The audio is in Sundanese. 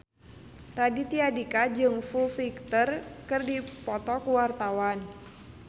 Raditya Dika jeung Foo Fighter keur dipoto ku wartawan